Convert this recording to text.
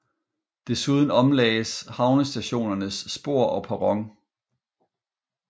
Desuden omlagdes havnestationens spor og perron